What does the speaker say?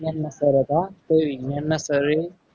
તો વિજ્ઞાનના sir હતા. તો એ વિજ્ઞાન ના sir એ